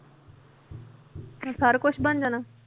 ਸਾਰਾ ਕੁਛ ਬਣ ਜਾਣਾ।